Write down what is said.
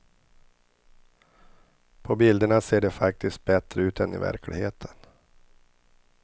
På bilderna ser det faktiskt bättre ut än i verkligheten.